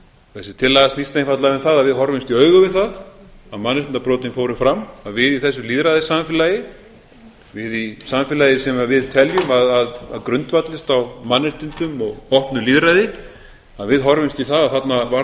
þessi tillaga snýst einfaldlega um það að við horfumst í augu við það að mannréttindabrotin fóru fram að við í þessu lýðræðissamfélagi við í samfélagi sem við teljum að grundvallist á mannréttindum og opnu lýðræði að við horfumst í við það að þarna varð okkur